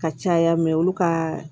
Ka caya mɛ olu ka